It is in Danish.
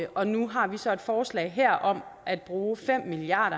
og nu har vi så et forslag her om at bruge fem milliard